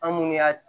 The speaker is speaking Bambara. An munnu y'a